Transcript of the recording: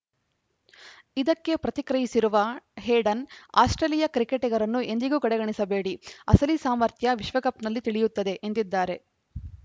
ಇದಕ್ಕೆ ಪ್ರತಿಕ್ರಿಯಿಸಿರುವ Hayden Australia ಕ್ರಿಕೆಟಿಗರನ್ನು ಎಂದಿಗೂ ಕಡೆಗಣಿಸಬೇಡಿ ಅಸಲಿ ಸಾಮರ್ಥ್ಯ ವಿಶ್ವಕಪ್‌ನಲ್ಲಿ ತಿಳಿಯುತ್ತದೆ ಎಂದಿದ್ದಾರೆ